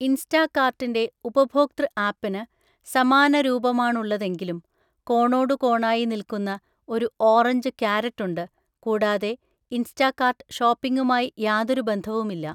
ഇൻസ്റ്റാകാർട്ടിൻ്റെ ഉപഭോക്തൃ ആപ്പിന് സമാന രൂപമാണുള്ളതെങ്കിലും കോണോടുകോണായി നിൽക്കുന്ന ഒരു ഓറഞ്ച് കാരറ്റുണ്ട്, കൂടാതെ ഇൻസ്റ്റാകാർട്ട് ഷോപ്പിംഗുമായി യാതൊരു ബന്ധവുമില്ല.